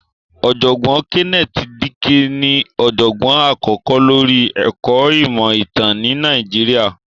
Ọ̀jọ̀gbọ́n Kenneth Dike ní ọ̀jọ̀gbọ́n àkọ́kọ́ lóri ẹ̀kọ́ ìmọ̀ ìtàn ni Nàìjíríà.